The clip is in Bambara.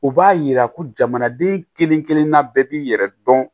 U b'a yira ko jamanaden kelen-kelenna bɛɛ b'i yɛrɛ dɔn